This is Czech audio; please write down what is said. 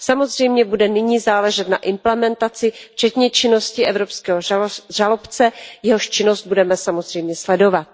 Samozřejmě bude nyní záležet na implementaci, včetně činnosti evropského žalobce, jehož činnost budeme samozřejmě sledovat.